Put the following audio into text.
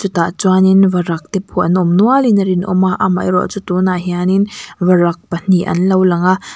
chutah chuanin varak te pawh an awm nualin a rinawm a amaherawh chu tunah hianin varak pahnih an lo langa.